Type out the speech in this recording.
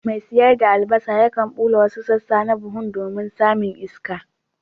Mai sayar da albasa yakan bulla wasu sassa na buhun domin samun iska.